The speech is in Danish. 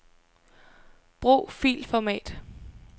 Brug filformat.